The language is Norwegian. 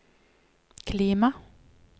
klima